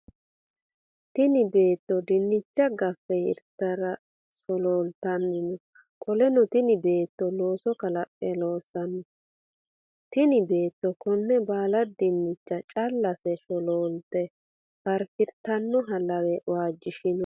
Tinni beetto dinnicha gafe hertara solooltanni no. Qoleno tinni beetto looso kalaqe loosanni no. Tinni beetto Konne baala dinnicha callase sholoolte faafirtanoha lawe waajishinoe.